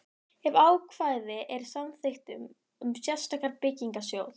ef ákvæði er í samþykktum um sérstakan byggingarsjóð.